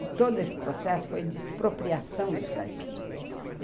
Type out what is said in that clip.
E todo esse processo foi de expropriação dos caipiras.